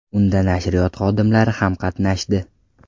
Unda nashriyot xodimlari ham qatnashdi.